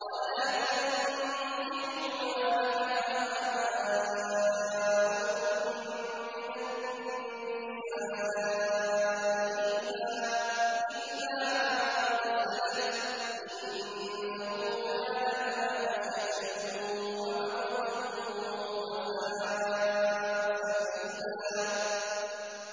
وَلَا تَنكِحُوا مَا نَكَحَ آبَاؤُكُم مِّنَ النِّسَاءِ إِلَّا مَا قَدْ سَلَفَ ۚ إِنَّهُ كَانَ فَاحِشَةً وَمَقْتًا وَسَاءَ سَبِيلًا